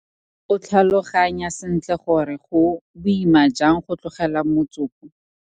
O tlhaloganya sentle gore go boima jang go tlogela motsoko.